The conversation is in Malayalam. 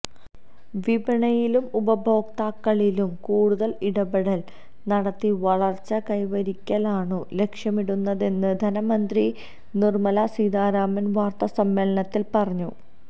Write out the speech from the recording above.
വിപണിയിലും ഉപഭോക്താക്കളിലും കൂടുതൽ ഇടപെടൽ നടത്തി വളർച്ച കൈവരിക്കലാണു ലക്ഷ്യമിടുന്നതെന്ന് ധനമന്ത്രി നിർമലാ സീതാരാമൻ വാർത്താസമ്മേളനത്തിൽ പറഞ്ഞു